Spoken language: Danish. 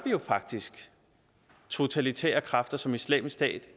jo faktisk totalitære kræfter som islamisk stat